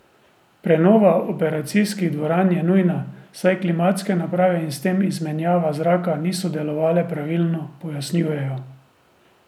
Prenova operacijskih dvoran je nujna, saj klimatske naprave in s tem izmenjava zraka niso delovale pravilno, pojasnjujejo.